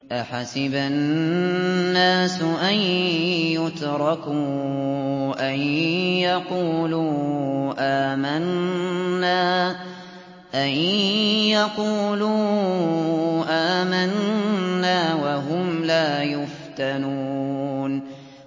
أَحَسِبَ النَّاسُ أَن يُتْرَكُوا أَن يَقُولُوا آمَنَّا وَهُمْ لَا يُفْتَنُونَ